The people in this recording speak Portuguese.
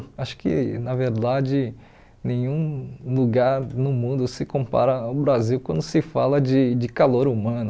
Acho que, na verdade, nenhum lugar no mundo se compara ao Brasil quando se fala de de calor humano.